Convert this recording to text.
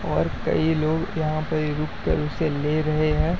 और कई लोग यहां पर रुक कर उसे ले रहे हैं।